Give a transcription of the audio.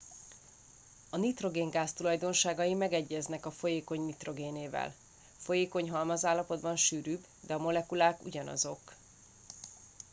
a nitrogéngáz tulajdonságai megegyeznek a folyékony nitrogénével folyékony halmazállapotban sűrűbb de a molekulák ugyanazok